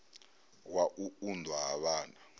wa u unḓwa ha vhana